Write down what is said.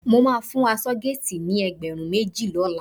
Mo máa fún aṣọ́géètì ni ẹgbẹ̀rún méjì lọ́la